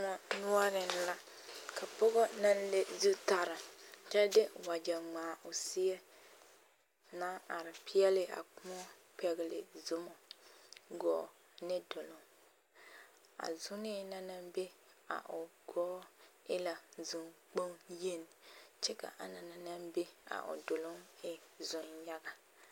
Kolaa noɔreŋ la ka pɔgɔ naŋ le zutaraa kyɛ de wagyɛ ŋmaa o seɛ naŋ are peɛle a kõɔ pɛgele zomɔ gɔɔ ne duluŋ, a zonee na naŋ be a o gɔɔ e la zoŋkpoŋ yeni kyɛ ka a anaŋ naŋ be a o duluŋ e zoŋyaga.